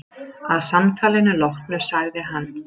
Að samtalinu loknu sagði hann